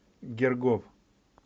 гергов